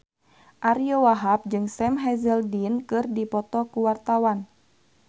Ariyo Wahab jeung Sam Hazeldine keur dipoto ku wartawan